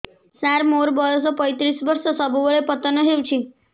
ସାର ମୋର ବୟସ ପୈତିରିଶ ବର୍ଷ ସବୁବେଳେ ପତନ ହେଉଛି